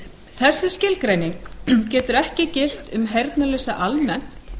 þessi skilgreining getur ekki gilt um heyrnarlausa almennt